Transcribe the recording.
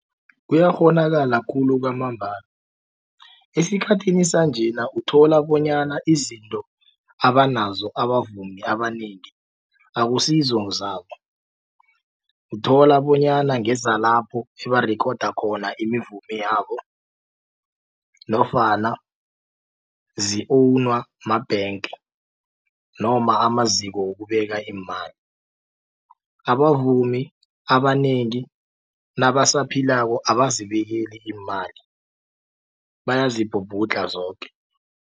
Kuyakghonakala khulu kwamambala esikhathini sanjena uthola bonyana izinto abanazo abavumi abanengi akusizo zabo uthola bonyana ngezalapho ebarikhoda khona iimivumo yabo nofana zi-own ma-bank noma amaziko wokubeka imali. Abavumi abanengi nabasaphilako abazibikeli iimali bayazibhubhudla zoke.